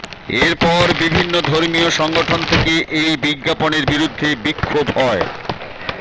এরপর বিভিন্ন ধর্মীয় সংগঠন থেকে এই বিজ্ঞাপনের বিরুদ্ধে বিক্ষোভ হয়